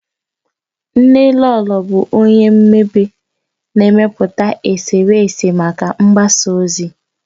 Nnelolo bụ onye mmebe, na-emepụta eserese maka mgbasa ozi.